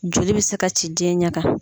Joli bɛ se ka ci den ɲɛ kan.